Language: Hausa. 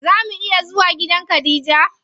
Zaa mu iya zuwa gidan khadija?